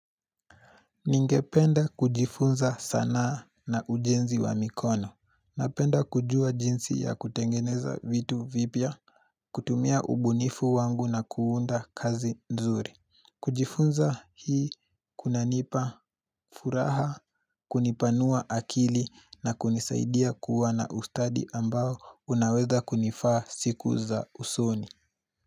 Ningependa kujifunza sanaa na ujenzi wa mikono. Napenda kujua jinsi ya kutengeneza vitu vipya kutumia ubunifu wangu na kuunda kazi nzuri. Kujifunza hii kunanipa furaha, kunipanua akili na kunisaidia kuwa na ustadi ambao unaweza kunifaa siku za usoni.